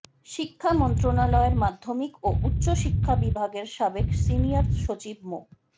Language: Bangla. শিক্ষা মন্ত্রণালয়ের মাধ্যমিক ও উচ্চ শিক্ষা বিভাগের সাবেক সিনিয়র সচিব মো